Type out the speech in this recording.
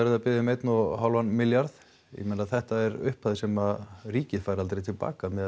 þið að biðja um einn og hálfan milljarð ég meina þetta er upphæð sem ríkið fær aldrei til baka miðað